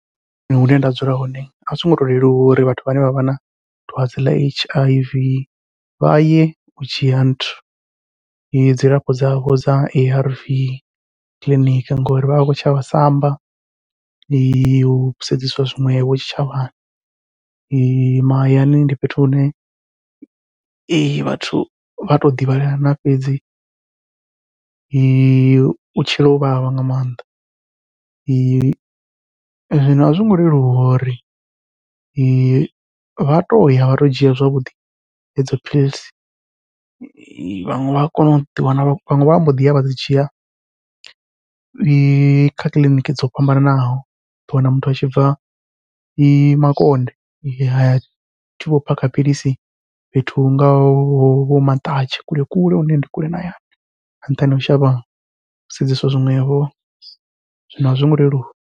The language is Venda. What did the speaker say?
Hune nda dzula hone a zwongo to leluwa uri vhathu vhane vha vha na dwadze ḽa H_I_V vhaye u dzhia nthu dzilafho dzavho dza A_R_V kiḽiniki, ngori vha vha vha khou shavha samba u sedzeswa zwiṅwevho tshitshavhani mahayani ndi fhethu hune vhathu vha to ḓivhelana fhedzi u tshila u vhavha nga maanḓa. Zwino a zwongo leluwa uri vha toya vha to dzhia zwavhuḓi hedzo philisi, vhaṅwe vha a kona u ḓiwana vhaṅwe vha mbo ḓiya vha dzhia ya kha kiḽiniki dzo fhambananaho uḓo wana muthu atshi bva Makonde atshi vho phakha philisi fhethu hu ngaho vho Maṱatshe kule kule hune ndi kule na hayani nga nṱhani hau shavha u sedzeswa zwiṅwevho zwino azwo ngo leluwa.